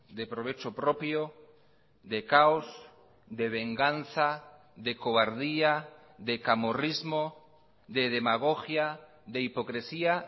de provecho propio de caos de venganza de cobardía de camorrismo de demagogia de hipocresía